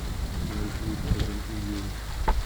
маршрут адам и ева